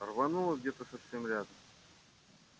рвануло где то совсем рядом